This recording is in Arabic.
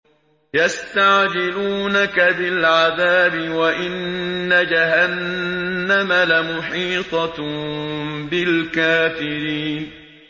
يَسْتَعْجِلُونَكَ بِالْعَذَابِ وَإِنَّ جَهَنَّمَ لَمُحِيطَةٌ بِالْكَافِرِينَ